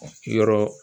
Yɔrɔ